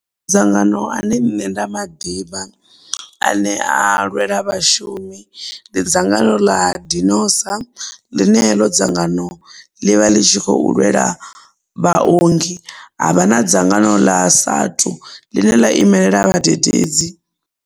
Dzangano ane nṋe nda maḓivha a ne a lwela vhashumi ndi dzangano ḽa dinosa ḽine heḽo dzangano ḽi vha ḽi tshi khou lwela vhaongi, havha na dzangano ḽa SATU ḽine ḽa imelela vhadededzi.